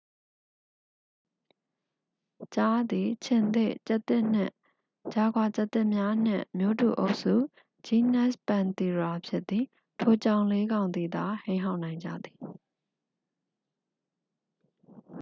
ကျားသည် ခြင်္သေ့၊ ကျားသစ်နှင့် ဂျာဂွာကျားသစ်များနှင့် မျိုးတူအုပ်စု genus panthera ဖြစ်သည်။ ထိုကြောင်လေးကောင်သည်သာ ဟိန်းဟောက်နိုင်ကြသည်။